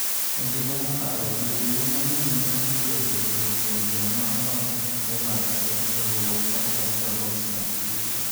E higa mokalo jotugo mang'eny ne oyudo tiegruok kuom joma olony e tuke mag adhong' e riwruok mar International Boxing Association (AIBA).